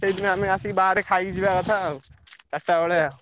ସେଇଥିପାଇଁ ଆମେ ଆସିକି ବାହାରେ ଖାଇକି ଯିବା କଥା ଆଉ ଚାରିଟା ବେଳିଆ।